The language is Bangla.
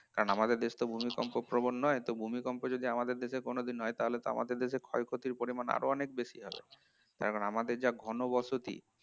কারন আমাদের দেশ তো ভূমিকম্প প্রবণ নয় তো ভূমিকম্প যদি আমাদের দেশে কোনোদিন হয় তাহলে তো আমাদের দেশে তো ক্ষয়ক্ষতির পরিমান আরো অনেক বেশি হবে কারন আমাদের যা ঘনবসতি